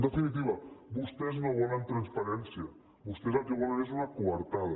en definitiva vostès no volen transparència vostès el que volen és una coartada